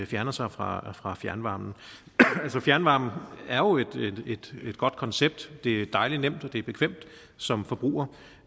fjerner sig fra fra fjernvarmen altså fjernvarmen er jo et godt koncept det er dejlig nemt og det er bekvemt som forbruger